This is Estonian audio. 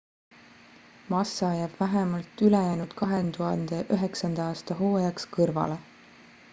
massa jääb vähemalt ülejäänud 2009 aasta hooajaks kõrvale